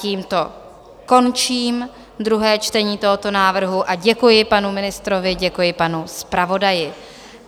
Tímto končím druhé čtení tohoto návrhu a děkuji panu ministrovi, děkuji panu zpravodaji.